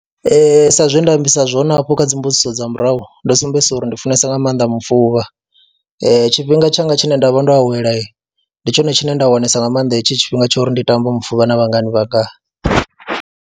Ee, sa zwe nda ambisa zwone hafho kha dzi mbudziso dza murahu ndo sumbedzisa uri ndi funesa nga maanḓa mufuvha, tshifhinga tshanga tshine nda vha ndo awela ndi tshone tshine nda wanesa nga maanḓa hetsho tshifhinga tsha uri ndi tambe mufuvha na vhangani vhanga.